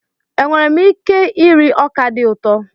Enwere m ike iri ọka dị ụtọ?